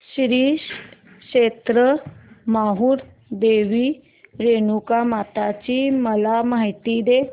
श्री क्षेत्र माहूर देवी रेणुकामाता ची मला माहिती दे